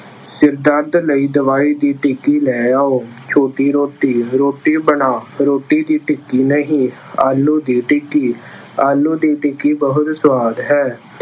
ਸਿਰ ਦਰਦ ਲਈ ਦਵਾਈ ਦੀ ਟਿੱਕੀ ਲੈ ਆਉ। ਛੋਟੀ ਰੋਟੀ- ਰੋਟੀ ਬਣਾ, ਰੋਟੀ ਦੀ ਟਿੱਕੀ ਨਹੀਂ। ਆਲੂ ਦੀ ਟਿੱਕੀ- ਆਲੂ ਦੀ ਟਿੱਕੀ ਬਹੁਤ ਸੁਆਦ ਹੈ।